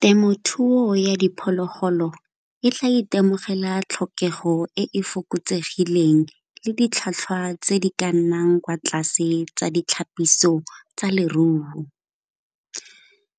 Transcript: Temothuo ya diphologolo e tla itemogela tlhokego e fokotsegileng le ditlhwatlhwa tse di ka nnang kwa tlase le tsa ditlhapiso tsa leruo,